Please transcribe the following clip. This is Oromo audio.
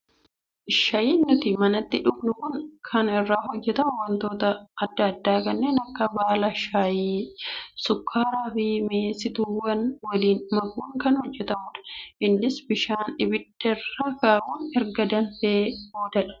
Shaayiin nuti manatti dhugnu Kun kan irraa hojjatamu wantoota adda addaa kanneen akka baala shaayii, sukkaaraa fi mi'eessituuwwan waliin makuun kan hojjatamudha. Innis bishaan abidda irra kaa'uun erga danfee boodadha